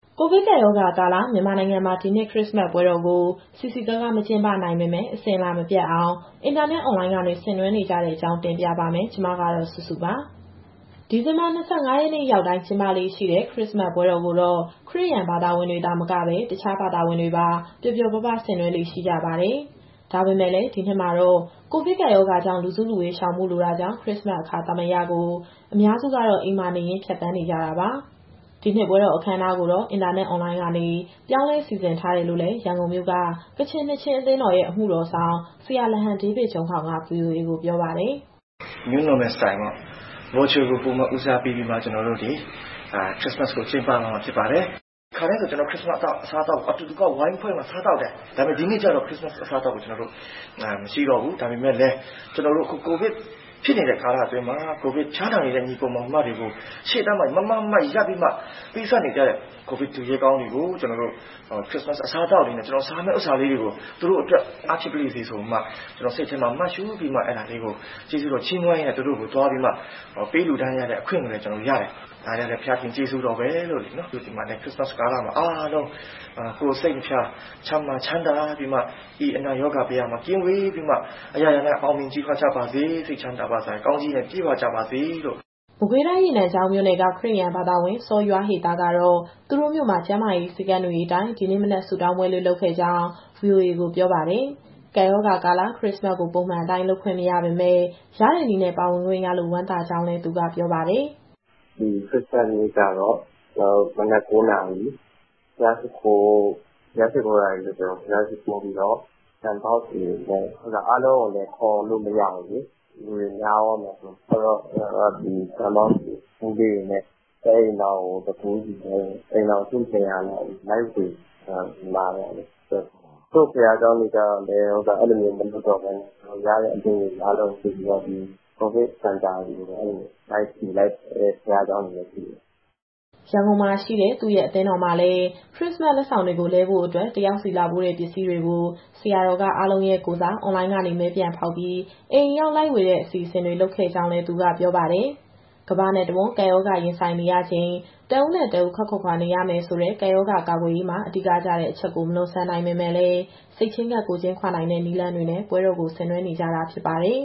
ကိုဗစ်ကပ်ရောဂါကာလ မြန်မာနိုင်ငံမှာ ဒီနှစ်ခရစ္စမတ်ပွဲတော်ကို စည်စည်ကားကား မကျင်းပနိုင်ပေမဲ့ အစဉ်အလာမပျက်အောင် အင်တာနက် အွန်လိုင်းကနေ ဆင်နွှဲနေကြတဲ့အကြောင်းကို ဗွီအိုအေမြန်မာပိုင်း သတင်းထောက် မစုစုက တင်ပြပေးပါမယ်။ ဒီဇင်ဘာလ ၂၅ ရက်နေ့ရောက်တိုင်း ကျင်းပလေ့ရှိတဲ့ ခရစ္စမတ်ပွဲတော်ကိုတော့ ခရစ်ယာန်ဘာသာဝင်တွေသာမက တခြားဘာသာဝင်တွေပါ ပျော်ပျော်ပါးပါး ဆင်နွှဲလေ့ ရှိကြပါတယ်။ ဒါပေမဲ့လည်း ဒီနှစ်မှာတော့ ကိုဗစ်ကပ်ရောဂါကြောင့် လူစုလူဝေးရှောင်ဖို့ လိုတာကြောင့် ခရစ္စမတ် အခါသမယကို အများစုကတော့ အိမ်မှာနေရင်း ဖြတ်သန်းနေကြတာပါ။ ဒီနှစ်ပွဲတော် အခမ်းအနားတွေကိုတော့ အင်တာနက် အွန်လိုင်းကနေ ပြောင်းလဲစီစဉ်ထားတယ်လို့လည်း ရန်ကုန်မြို့က ကချင်နှစ်ခြင်းအသင်းတော်ရဲ့ အမှုတော်ဆောင် ဆရာလဟန်ဒေးဗစ်ဂျုံးခေါင်က ဗွီအိုအေကိုပြောပါတယ်။ "New Normal Style ပေါ့၊ Virtual ကို ပိုပြီးဦးစားပေးပြီးတော့ ကျနော်တို့ ဒီခရစ္စမတ်ကိုကျင်းပသွားမှာဖြစ်ပါတယ်။ ခါတိုင်းဆို ခရစ္စမတ်အစားအသောက်ကို အတူတကွ ဝိုင်းဖွဲ့ပြီးတော့ ကျနော်တို့စားသောက်တယ်။ ဒါပေမဲ့ ဒီနှစ်ကျတော့ ခရစ္စမတ်အစားအသောက်ကို ဝိုင်းဖွဲ့စားတာမရှိတော့ဘူး။ ဒါပေမဲ့လည်း အခု ကိုဗစ်ဖြစ်နေတဲ့ကာလအတွင်းမှာ ဖျားနာနေတဲ့ ညီအစ်ကို၊ မောင်နှမတွေနဲ့ ရှေ့တန်းမှာ မားမားမတ်မတ်ရပ်ပြီး ပေးဆပ်နေကြတဲ့ ကိုဗစ်သူရဲကောင်းတွေကို ကျနော်တို့ ခရစ္စမတ် အစားအသောက်စားရမယ့်ဟာလေးတွေကို သူတို့အတွက် အားဖြစ်ပါလေ့စေဆိုပြီးတော့မှ စိတ်ထဲမှာ မှတ်ရှုပြီး အဲဒါလေးကိုကျေးဇူးတော်ချီးမွမ်းရင်း သူတို့ဆီသွားပြီး ပေးလှူဒါန်းရတဲ့ အခွင့်ကိုလည်း ကျနော်တို့ရတယ်။ ဒါတွေကလည်း ဘုရားသခင်ကျေးဇူးတော်ပါပဲ။ ခရစ္စမတ်ကာလမှာအားလုံး ကိုယ်စိတ်နှစ်ဖြာ ကျန်းမာချမ်းသာပြီး၊ ဤအနာရောဂါဘယမှကင်းဝေးပြီးမှ အရာရာအောင်မြင်ကြီးပွားကြပါစေ၊ စိတ်ချမ်းသာစရာကောင်းချီးနဲ့ ပြည့်ဝကြပါစေ။" မကွေးတိုင်း၊ ရေနံချောင်းမြို့နယ်က ခရစ်ယာန်ဘာသာဝင် စောယွားဟေသား ကတော့ သူတို့မြို့မှာ ကျန်းမာရေး စည်းကမ်းတွေအတိုင်း ဒီနေ့မနက် ဆုတောင်းပွဲလေး လုပ်ခဲ့ကြောင်း ဗွီအိုအေကို ပြောပါတယ်။ ကပ်ရောဂါကာလ ခရစ္စမတ်ကို ပုံမှန်အတိုင်းလုပ်ခွင့်မရပေမဲ့ ရတဲ့နည်းနဲ့ ပါဝင်ခွင့်ရလို့ ဝမ်းသာကြောင်းလည်း သူကပြောပါတယ်။ “ဒီခရစ္စမတ်နေ့ကတော့ ကျနော်တို့ မနက် ၉ နာရီ ဘုရားရှိခိုးတာတွေ လုပ်တယ်။ ဘုရားရှိခိုးပြီးတော့ ဒံပေါက်တွေ၊ အားလုံးကိုလည်း ခေါ်လို့မရဘူးလေ လူတွေများသွားမှာစိုးလို့၊ အဲဒီတော့ ကျနော်တို့က ဒံပေါက်ကို ဘူးလေးတွေနဲ့ တအိမ်ထောင်ကို တဘူးစီနဲ့ အိမ်ထောင်စု ၂၀၀ လောက်ကို လိုက်ဝေတယ် ဒီမှာတော့။ တချို့ ဘုရားကျောင်းတွေ ကျတော့လည်း အဲလိုမျိုး မလုပ်တော့ဘဲနဲ့ ရတဲ့အလှူငွေ အားလုံးကို စုပြီးတော့ COVID စင်တာတွေကို လိုက်လှူလိုက်တဲ့ ဘုရားကျောင်းတွေလည်းရှိတယ်။” ရန်ကုန်မှာရှိတဲ့ သူ့ရဲ့ အသင်းတော်မှာလည်း ခရစ္စမတ်လက်ဆောင်တွေ လဲဖို့အတွက် တယောက်စီလာပို့တဲ့ ပစ္စည်းတွေကို ဆရာတော်က အားလုံးရဲ့ကိုယ်စား အွန်လိုင်းကနေ မဲပြန်ဖောက်ပြီး အိမ်အရောက်လိုက်ဝေပေးတဲ့ အစီအစဉ်တွေ လုပ်ခဲ့ကြောင်းလည်း သူကပြောပါတယ်။ ကမ္ဘာနဲ့တဝန်း ကပ်ရောဂါရင်ဆိုင်နေရချိန် တဦးနဲ့ တဦး ခပ်ခွာခွာနေရမယ်ဆိုတဲ့ ကပ်ရောဂါကာကွယ်ရေးမှာ အဓိကကျတဲ့အချက်ကို မလွန်ဆန်နိုင်ပေမဲ့လည်း စိတ်ချင်းကပ် ကိုယ်ချင်းခွာနိုင်တဲ့နည်းလမ်းတွေနဲ့ ပွဲတော်ကို ဆင်နွှဲနေကြတာဖြစ်ပါတယ်